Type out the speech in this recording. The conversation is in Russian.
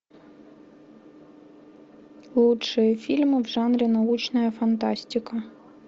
лучшие фильмы в жанре научная фантастика